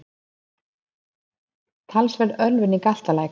Talsverð ölvun í Galtalæk